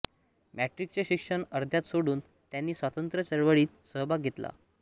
मॅट्रिकचे शिक्षण अर्ध्यात सोडून त्यांनी स्वातंत्र्य चळवळीत सहभाग घेतला